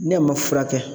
Ne ma furakɛ